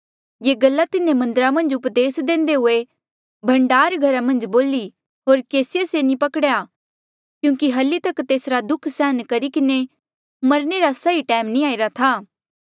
ये गल्ला तिन्हें मन्दरा मन्झ उपदेस देंदे हुए भण्डार घरा मन्झ बोली होर केसिए से नी पकड़ेया क्यूंकि हल्ली तक तेसरा दुःख उठाई किन्हें मरणे रा सही टैम नी आईरा था